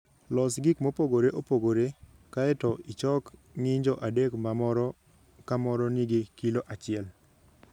Los gik mopogore opogore, kae to ichok ng'injo adek ma moro ka moro nigi kilo achiel.